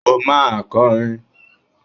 O máa kọrin!